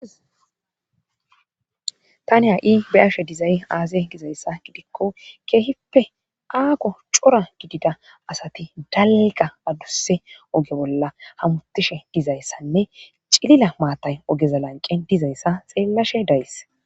Tani ha7i bayashe dizay aase gizayssa gidikko keehippe aako cora gidida asati dalga adusse oge bolla hamutishe dizayssanne cilila maatay ogeza lanqen dizayssa xeellashe days